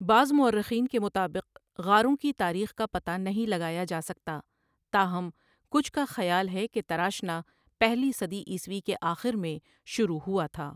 بعض مورخین کے مطابق غاروں کی تاریخ کا پتہ نہیں لگایا جا سکتا تاہم کچھ کا خیال ہے کہ تراشنا پہلی صدی عیسوی کے آخر میں شروع ہوا تھا۔